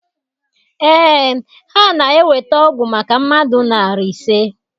Ee, ha na eweta ọgwụ maka mmadụ narị ise